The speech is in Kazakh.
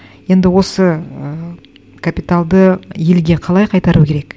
енді осы ы капиталды елге қалай қайтару керек